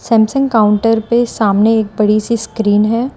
Samsung counter पे सामने एक बड़ी सी स्क्रीन है।